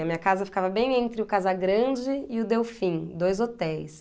A minha casa ficava bem entre o Casa Grande e o Delfim, dois hotéis.